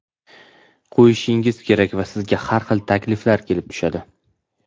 qo‘yishingiz kerak va sizga har xil takliflar kelib tushadi.